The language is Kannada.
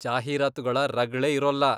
ಜಾಹೀರಾತುಗಳ ರಗ್ಳೆ ಇರೋಲ್ಲ.